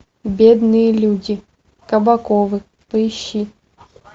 бедные люди кабаковы поищи